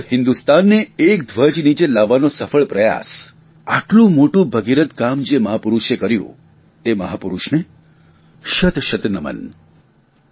આઝાદ હિંદુસ્તાનને એક ધ્વજ નીચે લાવવાનો સફળ પ્રયાસ આટલું મોટું ભગીરથ કામ જે મહાપુરૂશે કર્યું તે મહાપુરૂષને શત શત નમન